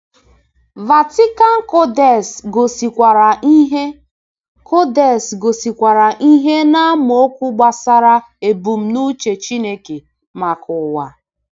Vatican Codex gosikwara ìhè Codex gosikwara ìhè n’amaokwu gbasara ebumnuche Chineke maka ụwa.